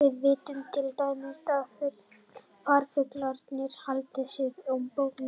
Við vitum til dæmis að farfuglarnir halda suður á bóginn á haustin.